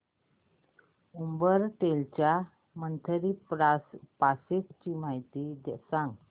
Uber rental च्या monthly passes ची माहिती सांग